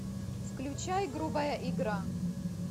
включай грубая игра